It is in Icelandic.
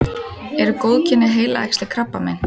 eru góðkynja heilaæxli krabbamein